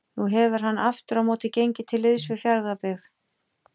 Nú hefur hann aftur á móti gengið til liðs við Fjarðabyggð.